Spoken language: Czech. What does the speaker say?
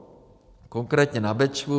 Konkrétně na Bečvu